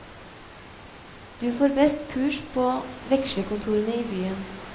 Du får best kurs på vekslekontorene i byen.